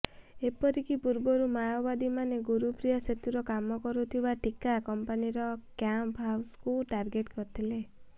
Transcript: ଏପରିକି ପୂର୍ବରୁ ମାଓବାଦୀ ମାନେ ଗୁରୁପ୍ରିୟା ସେତୁର କାମ କରୁଥିବା ଠିକା କମ୍ପାନିର କ୍ୟାମ୍ପ ହାଉସକୁ ଟାର୍ଗେଟ କରିଥିଲେ